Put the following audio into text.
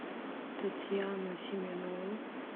татьяну семенову